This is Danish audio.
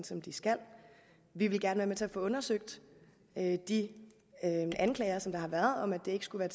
som de skal vi vil gerne være med til at få undersøgt de anklager som der har været om at det ikke skulle